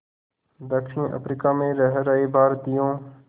दक्षिण अफ्रीका में रह रहे भारतीयों